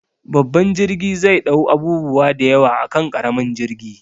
Babban jirgi zai ɗau abubuwa da yawa akan ƙaramin jirgi